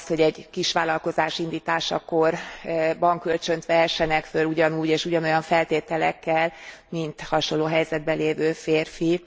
ahhoz, hogy egy kisvállalkozás indításakor bankkölcsönt vehessenek föl ugyanúgy és ugyanolyan feltételekkel, mint a hasonló helyzetben lévő férfi.